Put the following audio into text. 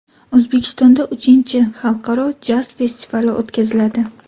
O‘zbekistonda uchinchi xalqaro jaz festivali o‘tkaziladi.